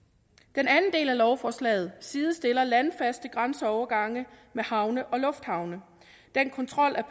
den anden del af lovforslaget sidestiller landfaste grænseovergange med havne og lufthavne den kontrol der